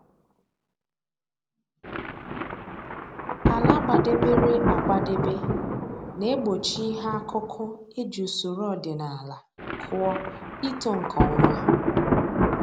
Ala gbadebere agbadebe na-egbochi ihe akụkụ e ji usoro ọdịnaala kụọ ito nke ọma